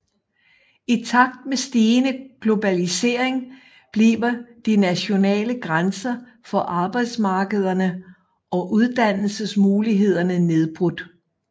I takt med stigende globalisering bliver de nationale grænser for arbejdsmarkederne og uddannelsesmulighederne nedbrudt